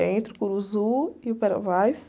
É entre o e o.